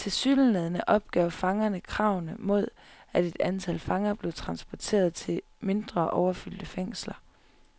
Tilsyneladende opgav fangerne kravene mod, at et antal fanger blev transporteret til mindre overfyldte fængsler.